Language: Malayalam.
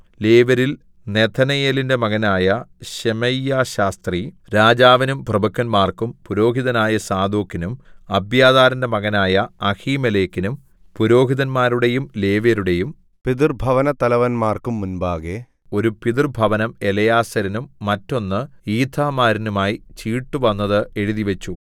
ലേവ്യരിൽ നെഥനയേലിന്റെ മകനായ ശെമയ്യാശാസ്ത്രി രാജാവിനും പ്രഭുക്കന്മാർക്കും പുരോഹിതനായ സാദോക്കിനും അബ്യാഥാരിന്റെ മകനായ അഹീമേലെക്കിനും പുരോഹിതന്മാരുടെയും ലേവ്യരുടെയും പിതൃഭവനത്തലവന്മാർക്കും മുമ്പാകെ ഒരു പിതൃഭവനം എലെയാസാരിനും മറ്റൊന്ന് ഈഥാമാരിനുമായി ചീട്ടുവന്നത് എഴുതിവെച്ചു